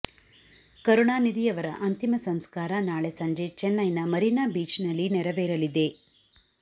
ಕರುಣಾನಿಧಿ ಅವರ ಅಂತಿಮ ಸಂಸ್ಕಾರ ನಾಳೆ ಸಂಜೆ ಚೆನ್ನೈನ ಮರೀನಾ ಬೀಚ್ ನಲ್ಲಿ ನೆರವೇರಲಿದೆ